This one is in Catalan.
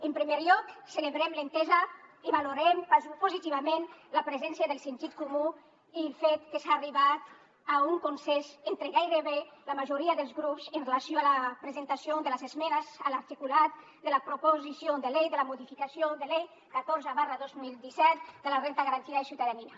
en primer lloc celebrem l’entesa i valorem positivament la presència del sentit comú i el fet que s’ha arribat a un consens entre gairebé la majoria dels grups amb relació a la presentació de les esmenes a l’articulat de la proposició de llei de la modificació de la llei catorze dos mil disset de la renda garantida de ciutadania